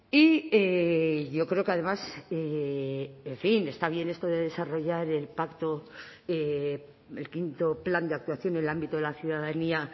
y yo creo que además en fin está bien esto de desarrollar el pacto el quinto plan de actuación en el ámbito de la ciudadanía